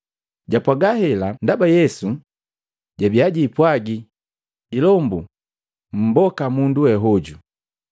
Japwaga hela ndaba Yesu jabi jiipwagi, “Ilombu mumboka mundu we hojo.”